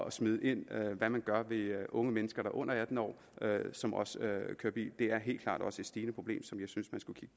at smide ind hvad man gør ved unge mennesker der er under atten år og som også kører bil det er helt klart også et stigende problem som jeg synes